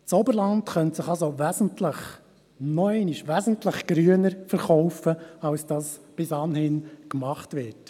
Das Oberland könnte sich also noch einmal wesentlich grüner verkaufen, als das bis anhin gemacht wird.